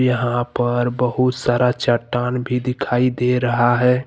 यहां पर बहुत सारा चट्टान भी दिखाई दे रहा है।